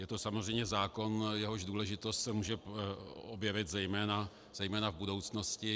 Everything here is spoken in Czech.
Je to samozřejmě zákon, jehož důležitost se může objevit zejména v budoucnosti